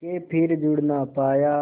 के फिर जुड़ ना पाया